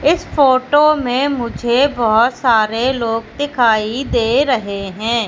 इस फोटो में मुझे बहोत सारे लोग दिखाई दे रहें हैं।